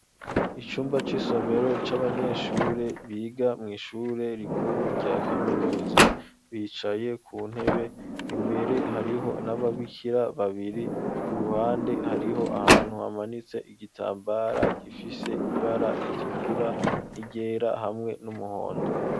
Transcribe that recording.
Icumba c'isomero, c'abanyeshure, biga mw'ishure rikuru, rya kaminuza; bicaye ku ntebe; imbere, hariho n'ababikira babiri; ku ruhande, hariho ahantu, hamanitse igitambara, gifise ibara ritukura, n'iryera, hamwe n'umuhondo.